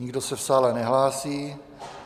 Nikdo se v sále nehlásí.